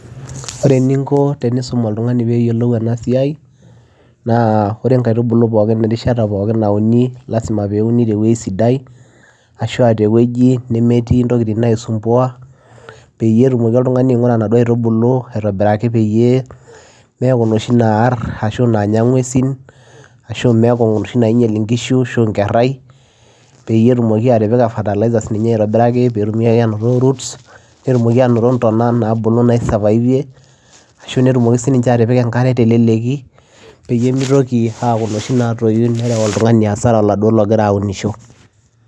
Ore eninko teniisum oltung'ani peyiolou enasiai, naa ore inkaitubulu pookin erishata pookin nauni, lasima peuni tewoi sidai, ashua tewueji nemetii ntokiting nai sumbua, peyie etumoki oltung'ani aing'ura naduo aitubulu aitobiraki peyie, meeku noshi naar ashu naanya ing'uesin, ashu meeku noshi nainyel inkishu ashu nkerrai, peyie etumoki atipika fertiliser sininye aitobiraki, petumi ake anoto roots, netumoki anoto ntona nabulu naisavaive, ashu netumoki sininche atipika enkare teleleki, peyie mitoki aku noshi natoyu nereu oltung'ani asara oladuo logira aunisho.